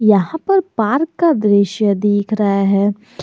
यहां पर पार्क का दृश्य दिख रहा है।